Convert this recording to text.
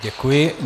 Děkuji.